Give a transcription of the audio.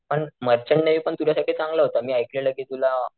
पण merchant navy पण तुझ्या साठी चांगला होता मी ऐकलेलं कि तुला,